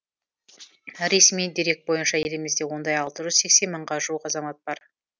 ресми дерек бойынша елімізде ондай алты жүз сексен мыңға жуық азамат бар